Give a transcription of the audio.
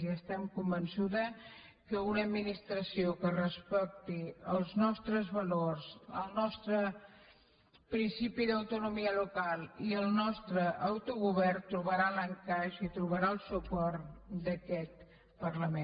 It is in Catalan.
i estic convençuda que una administració que respecti els nostres valors el nostre principi d’autonomia local i el nostre autogovern trobarà l’encaix i trobarà el suport d’aquest parlament